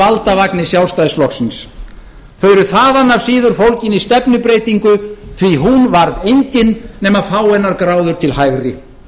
valdavagni sjálfstæðisflokksins þau eru þaðan af síður fólgin í stefnubreytingu því að hún varð engin nema fáeinar gráður til hægri